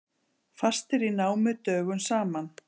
Fastir í námu dögum saman